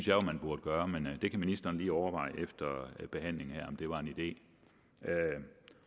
jo at man burde gøre men det kan ministeren lige overveje efter behandlingen her var en idé